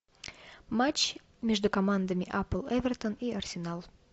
матч между командами апл эвертон и арсенал